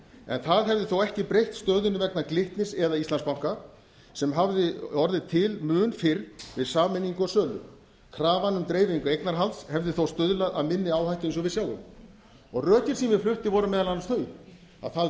en það hefði þó ekki breytt stöðunni vegna glitnis eða íslandsbanka sem hafði orðið til mun fyrr við sameiningu og sölu krafan um dreifingu eignarhalds hefði þó stuðlað að inni áhættu eins og við sjáum rökin sem ég flutti voru meðal annars þau að það